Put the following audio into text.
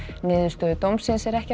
niðurstöðu dómsins er ekki